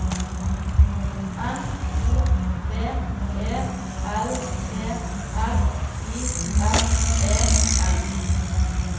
N O B E L P R I S E N